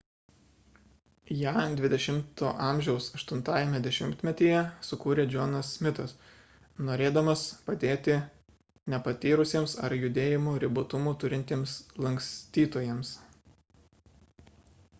ją xx a 8 dešimtmetyje sukūrė johnas smithas norėdamas padėti nepatyrusiems ar judėjimo ribotumų turintiems lankstytojams